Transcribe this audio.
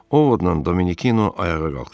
Ovodla Dominikino ayağa qalxdı.